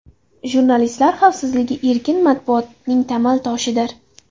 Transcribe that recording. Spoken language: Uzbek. Jurnalistlar xavfsizligi erkin matbuotning tamal toshidir.